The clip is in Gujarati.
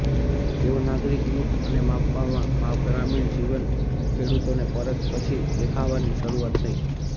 તેઓ નાગરિક યુદ્ધ અને માપવામાં ગ્રામીણ જીવન ખેડૂતોને પરત પછી દેખાવાની શરૂઆત થઇ